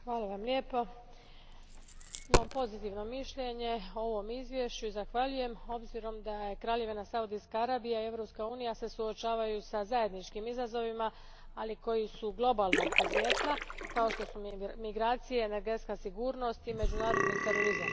Gospodine predsjedniče, imam pozitivno mišljenje o ovom izvješću i zahvaljujem obzirom da se Kraljevina Saudijska Arabija i Europska unija suočavaju sa zajedničkim izazovima, ali koji su globalnog podrijetla, kao što su migracije, energetska sigurnost i međunarodni terorizam.